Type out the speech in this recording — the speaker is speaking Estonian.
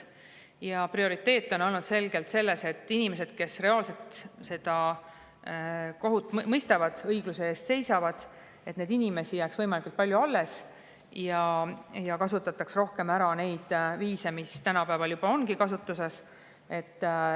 Ja prioriteet on olnud selgelt see, et inimesi, kes reaalselt kohut mõistavad ja õigluse eest seisavad, jääks võimalikult palju alles ja kasutataks rohkem ära neid viise, mis tänapäeval juba on kasutuses.